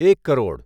એક કરોડ